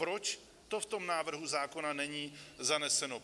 Proč to v tom návrhu zákona není zaneseno?